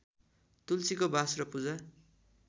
तुलसीको बास र पूजा